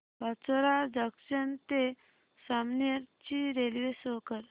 Pachora junction ते जामनेर ची railway show कर